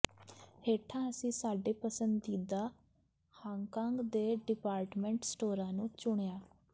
ਹੇਠਾਂ ਅਸੀਂ ਸਾਡੇ ਪਸੰਦੀਦਾ ਹਾਂਗਕਾਂਗ ਦੇ ਡਿਪਾਰਟਮੈਂਟ ਸਟੋਰਾਂ ਨੂੰ ਚੁਣਿਆ ਹੈ